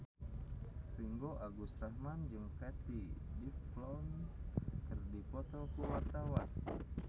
Ringgo Agus Rahman jeung Katie Dippold keur dipoto ku wartawan